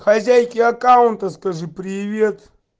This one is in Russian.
хозяйке аккаунта скажи привет